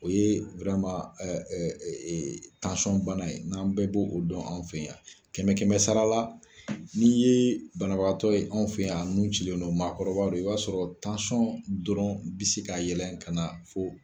O ye bana ye n'an bɛɛ b'o o dɔn anw fɛ yan. Kɛmɛ kɛmɛ sarala n' ye banabagatɔ ye anw fɛ yan a nun cilen don maakɔrɔbadɔ i b'a sɔrɔ dɔrɔn bɛ se ka yɛlɛn ka na fo.